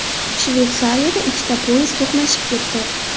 Shveysariyada ikkita poyezd to‘qnashib ketdi .